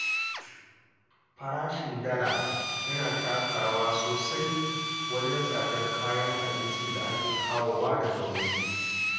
Farashin Dala yana taka rawa sosai wajen tsadar kayan abincin da ake kawowa daga waje.